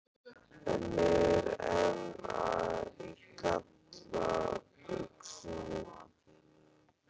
En ég er enn í galla buxunum.